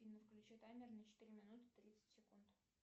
афина включи таймер на четыре минуты тридцать секунд